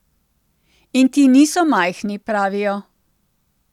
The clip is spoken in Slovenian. In ti niso majhni, pravijo.